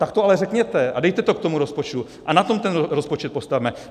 Tak to ale řekněte a dejte to k tomu rozpočtu a na tom ten rozpočet postavme.